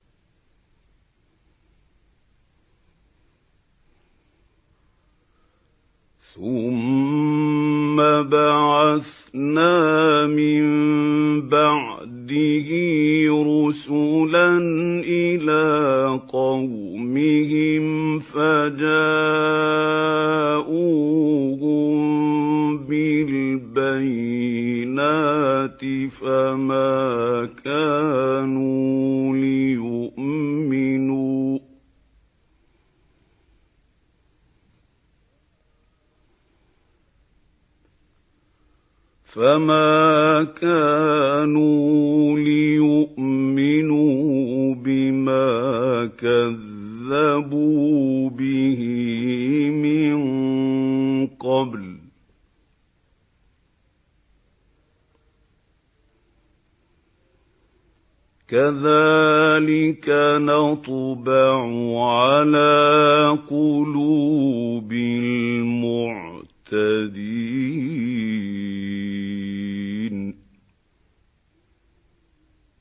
ثُمَّ بَعَثْنَا مِن بَعْدِهِ رُسُلًا إِلَىٰ قَوْمِهِمْ فَجَاءُوهُم بِالْبَيِّنَاتِ فَمَا كَانُوا لِيُؤْمِنُوا بِمَا كَذَّبُوا بِهِ مِن قَبْلُ ۚ كَذَٰلِكَ نَطْبَعُ عَلَىٰ قُلُوبِ الْمُعْتَدِينَ